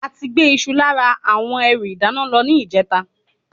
Ati gbé Isu lára àwọn ẹrù ìdáná lọ ni ijeta